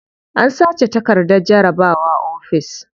An sace takardar jarabawa ofis.